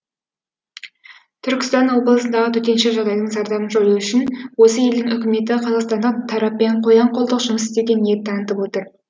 түркістан облысындағы төтенше жағдайдың зардабын жою үшін осы елдің үкіметі қазақстандық тараппен қоян қолтық жұмыс істеуге ниет танытып отыр